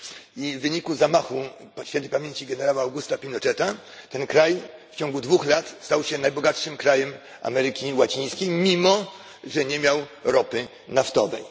I w wyniku zamachu świętej pamięci generała Augusta Pinocheta ten kraj w ciągu dwóch lat stał się najbogatszym krajem Ameryki Łacińskiej, mimo że nie miał ropy naftowej.